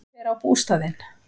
Hver á bústaðinn?